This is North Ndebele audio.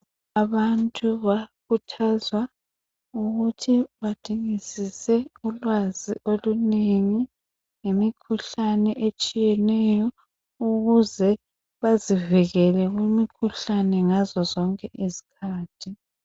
Abantu bayakhuthazwa ukuthi badingisise ulwazi olunengi, ngemikhuhlane etshiyeneyo ukuze bazivikele kumikhuhlane ngazo zonke izikhathi.